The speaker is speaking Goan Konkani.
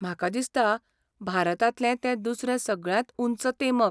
म्हाका दिसता, भारतांतलें तें दुसरें सगळ्यांत उंच तेमक?